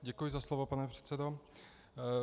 Děkuji za slovo, pane předsedo.